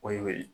O ye o ye